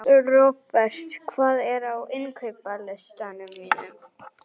Robert, hvað er á innkaupalistanum mínum?